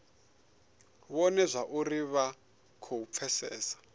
vhone zwauri vha khou pfesesa